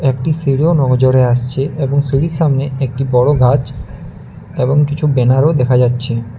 একটি সিঁড়িও নজরে আসছে এবং সিঁড়ির সামনে একটি বড়ো গাছ এবং কিছু ব্যানারও দেখা যাচ্ছে।